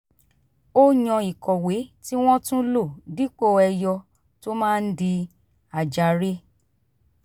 ó yàn ìkọ̀wé tí wọ́n tún lò dípò ẹyọ̀ tó máa ń di àjàre